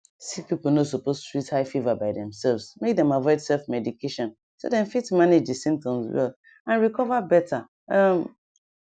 sick people no suppose treat high fever by themselves make dem avoid selfmedication so dem fit manage di symptoms well and recover better um